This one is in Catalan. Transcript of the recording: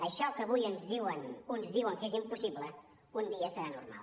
això que avui uns diuen que és impossible un dia serà normal